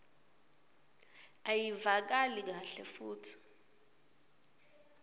ayivakali kahle futsi